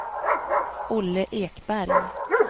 Olle Ekberg